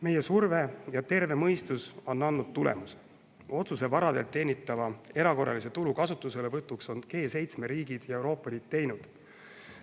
Meie surve ja terve mõistus on andnud tulemuse: G7 riigid ja Euroopa Liit on teinud otsuse varalt teenitava erakorralise tulu kasutuselevõtuks.